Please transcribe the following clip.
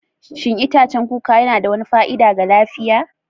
Shin itacen kuka yana da wani fa'ida ga lafiya?